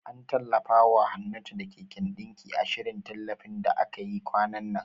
An tallafawa Hannatu da keken ɗinki, a shirin tallafin da aka yi kwanan nan.